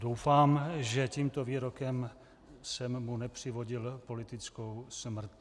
Doufám, že tímto výrokem jsem mu nepřivodil politickou smrt.